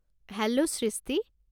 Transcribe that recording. Hello সৃষ্টি!